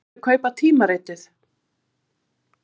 Viltu kaupa tímaritið?